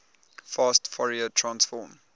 fast fourier transform